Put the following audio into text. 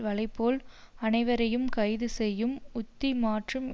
வலை போல் அனைவரையும் கைது செய்யும் உத்தி மற்றும்